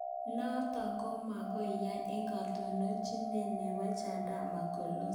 Noto ko magoi yaak eng katononchinet nebo Chadema ko Lissu